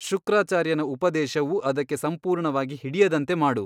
ಶುಕ್ರಾಚಾರ್ಯನ ಉಪದೇಶವು ಅದಕ್ಕೆ ಸಂಪೂರ್ಣವಾಗಿ ಹಿಡಿಯದಂತೆ ಮಾಡು.